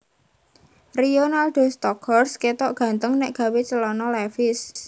Rionaldo Stockhorst ketok ganteng nek gawe celana levis